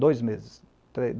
Dois meses.